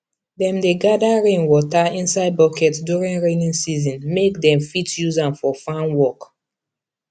dem dey gather rainwater inside bucket during rainy season make dem fit use am for farm work